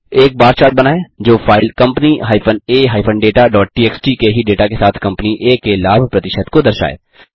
एक बार चार्ट बनाएँ जो फाइल company a dataटीएक्सटी के ही डेटा के साथ कम्पनी आ के लाभ प्रतिशत को दर्शाए